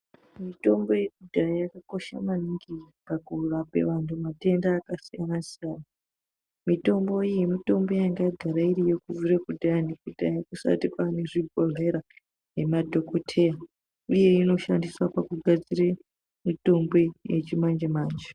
Mitombo yekudhaya yakakosha maningi pakurape vantu matenda akasiyana siyana. Mitombo iyi mitombo yanga yagara iriyo kudhaya kusati kwane zvibhodhlera nemadhokodheya uye inoshandiswa pakugadzira mitombo yechimanje manje.